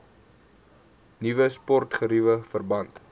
nuwe sportgeriewe verband